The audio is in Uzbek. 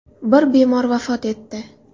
Bir bemor vafot etdi.